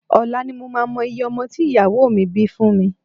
Ọ̀la ni mo máa mọ iye ọmọ tí ìyàwó mi bí fún mi